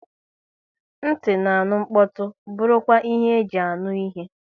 Nti na-aṅụ mkpọtụ bụrụ kwa ihe e ji anụ ihe